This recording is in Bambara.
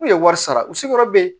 N'u ye wari sara u sigiyɔrɔ bɛ yen